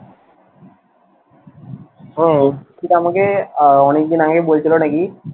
কিন্তু আমাকে আহ অনেক দিন আগে বলছিলো নাকি,